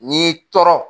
N'i y'i tɔɔrɔ